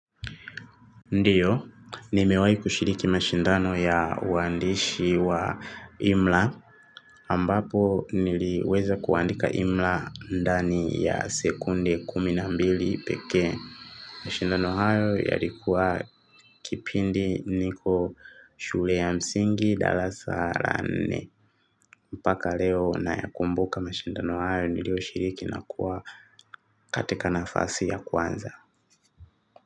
Ndio, nimewai kushiriki mashindano ya uandishi wa Imla. Ambapo niliweza kuandika Imla ndani ya sekunde kumi na mbili peke. Mashindano hayo yalikuwa kipindi niko shule ya msingi darasa la nne. Mpaka leo nayakumbuka mashindano hayo nilio shiriki na kuwa katika nafasi ya kwanza.